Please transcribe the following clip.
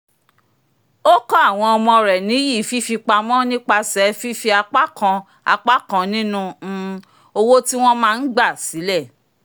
ó kọ́ àwọn ọmọ rẹ̀ níyì fífipamọ́ nípasẹ̀ fífi apá kan apá kan ninu um owó tí wọ́n máa ń gba sílẹ̀